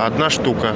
одна штука